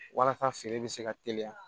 Walasa feere bɛ se ka teliya